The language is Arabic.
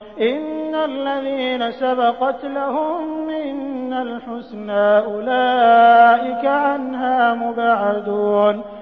إِنَّ الَّذِينَ سَبَقَتْ لَهُم مِّنَّا الْحُسْنَىٰ أُولَٰئِكَ عَنْهَا مُبْعَدُونَ